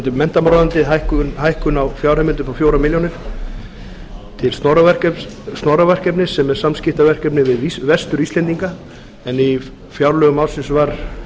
varðandi menntamálaráðuneytið hækkun á fjárheimild upp á fjórum milljónum til snorraverkefnis sem er samskiptaverkefni við vestur íslendinga en í fjárlögum ársins var